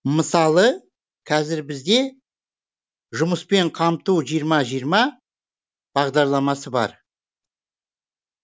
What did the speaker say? мысалы қазір бізде жұмыспен қамту жиырма жиырма бағдарламасы бар